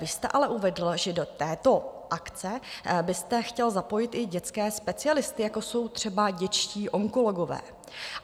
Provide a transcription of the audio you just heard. Vy jste ale uvedl, že do této akce byste chtěl zapojit i dětské specialisty, jako jsou třeba dětští onkologové.